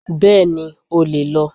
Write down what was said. Bẹ́ẹ̀ni, o le lọ